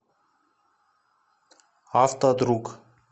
автодруг